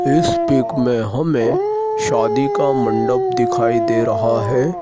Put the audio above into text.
इस पिक में हमें शादी का मंडप दिखाई दे रहा है।